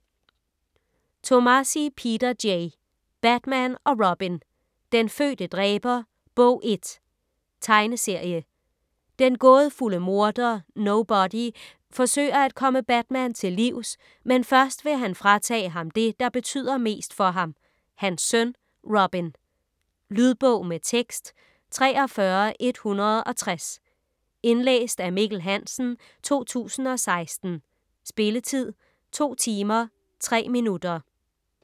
Tomasi, Peter J.: Batman og Robin: Den fødte dræber: Bog 1 Tegneserie. Den gådefulde morder NoBody forsøger at komme Batman til livs, men først vil han fratage ham det, der betyder mest for ham; hans søn Robin. . Lydbog med tekst 43160 Indlæst af Mikkel Hansen, 2016. Spilletid: 2 timer, 3 minutter.